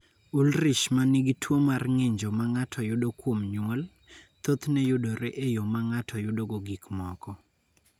Ullrich ma nigi tuo mar ng�injo ma ng�ato yudo kuom nyuol, thothne yudore e yo ma ng�ato yudogo gik moko.